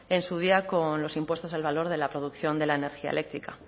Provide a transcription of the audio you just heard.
en su día con los impuestos al valor de la producción de la energía eléctrica